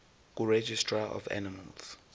kuregistrar of animals